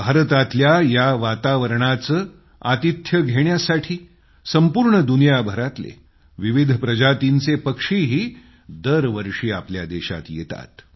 भारतातल्या या वातावरणाचे आतिथ्य घेण्यासाठी संपूर्ण दुनियाभरातले विविध प्रजातींचे पक्षीही दरवर्षी आपल्या देशात येतात